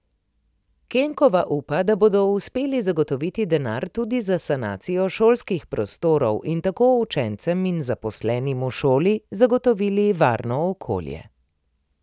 Kenkova upa, da bodo uspeli zagotoviti denar tudi za sanacijo šolskih prostorov in tako učencem in zaposlenim v šoli zagotovili varno okolje.